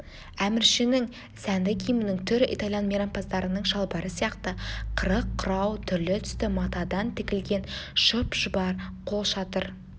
әміршінің сәнді киімінің түрі итальян мейрампаздарының шалбары сияқты қырық құрау түрлі түсті матадан тігілген шұп-шұбар қолшатыр